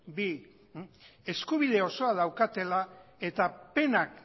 bi eskubide osoa daukatela eta penak